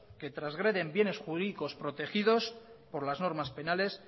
que transgreden bienes jurídicos protegidos por las normas penales